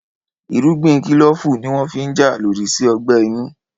Irúgbìn kílòfù ní wọ́n fi n jà lòdì sí ọgbẹ́ inú